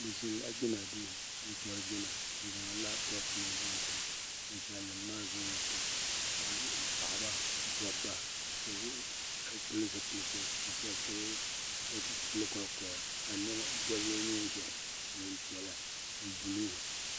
Bi ʒini la jina duu n tɔri jina n zaŋ lapitɔpi nima zaŋ tam ninsali nima maa zoo ya pam ka bi lu paɣaba dɔbba ka shɛba pili zipilisi ka shɛba pini kolikoya ka shɛba yɛ niɛn ʒiɛhi niɛn piɛlla ni buluu.